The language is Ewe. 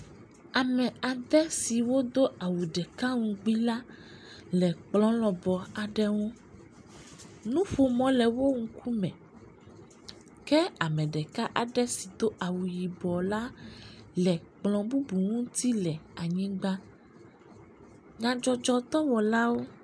Ame aɖe siwo do awu ɖeka ŋugbi la le kplɔ lɔbɔ aɖe nu. Nuƒomɔ le wo ŋkume ke ame ɖeka aɖe si do awu yibɔ la le kplɔ bubu ŋuti le anyigba. Nyadzɔdzɔdɔwɔlawo.